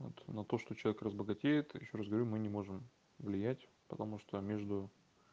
вот на то что человек разбогатеет я ещё раз говорю мы не можем влиять потому что между